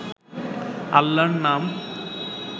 আল্লাহর নাম